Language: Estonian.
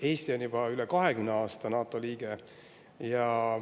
Eesti on juba üle 20 aasta NATO liige.